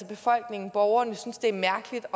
befolkningen borgerne synes det er mærkeligt